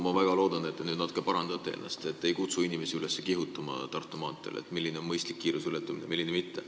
Ma väga loodan, et te nüüd natuke parandate ennast ja ütlete, et te ei kutsu inimesi üles Tartu maanteel kihutama, rääkides, milline on mõistlik kiiruseületamine ja milline mitte.